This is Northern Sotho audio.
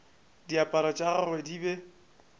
diaparo tša gagwe di be